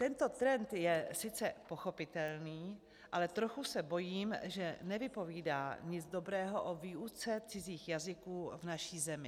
Tento trend je sice pochopitelný, ale trochu se bojím, že nevypovídá nic dobrého o výuce cizích jazyků v naší zemi.